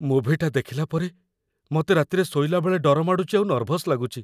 ମୁଭିଟା ଦେଖିଲା ପରେ, ମତେ ରାତିରେ ଶୋଇଲାବେଳେ ଡର ମାଡ଼ୁଚି ଆଉ ନର୍ଭସ୍ ଲାଗୁଚି ।